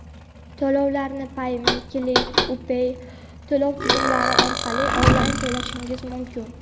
To‘lovlarni "Payme", "Click", "U-pay" to‘lov tizimlari orqali onlayn to‘lashingiz mumkin.